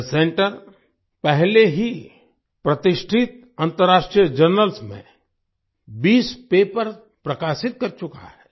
यह सेंटर पहले ही प्रतिष्ठित अंतर्राष्ट्रीय जर्नल्स में 20 पेपर्स प्रकाशित कर चुका है